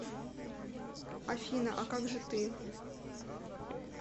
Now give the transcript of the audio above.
афина а как же ты